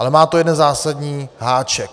Ale má to jeden zásadní háček.